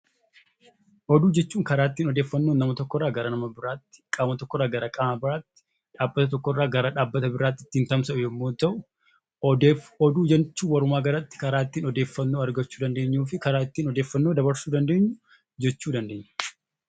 Oduu jechuun karaa ittiin odeeffannoon nama tokko irraa gara nama biraatti, qaama tokko irraa qaama biraatti, dhaabbata tokko irraa dhaabbata biraatti ittiin tamsa'u yommuu ta'u; oduu jechuun walumaa galatti karaa ittiin odeeffannoo argachuu dandeenyuu fi karaa ittiin odeeffannoo dabarsuu dandeenyu jechuu dandeenya.